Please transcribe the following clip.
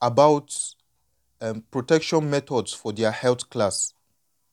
about um protection methods for their health class.